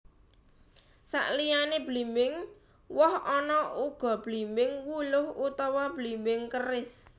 Saliyané blimbing woh ana uga blimbing wuluh utawa blimbing keris